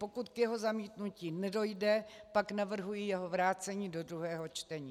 Pokud k jeho zamítnutí nedojde, pak navrhuji jeho vrácení do druhého čtení.